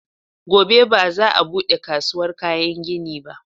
Gobe ba za a buɗe kasuwar kayan gini ba